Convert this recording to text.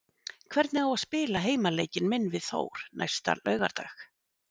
Hvernig á ég að spila heimaleikinn minn við Þór næsta laugardag?